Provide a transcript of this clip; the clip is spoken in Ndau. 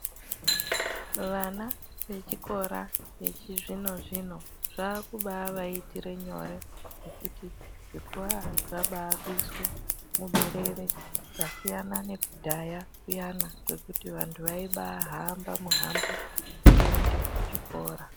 Vana ve chikora vechi zvino zvino zvakuba vaitire nyore nekuti zvikora zvakubai kuswe muberere zvasiyana nekudhaya kuyani kwekuti vantu vaibai hamba muhambo kuenda ku chikora.